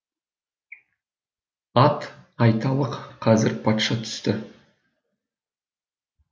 ат айталық қазір патша түсті